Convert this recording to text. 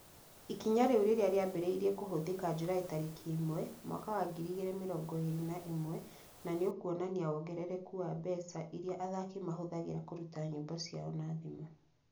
ĩkinya rĩu rĩrĩa rĩambĩrĩirie kũhũthĩka Julaĩ tarĩki imwe, mwaka wa ngiri igĩri mĩrongo ĩrĩ na ĩmwe na nĩ ũkuonania wongerereku wa mbeca iria athaki mahũthagĩra kũruta nyĩmbo ciao na thimũ.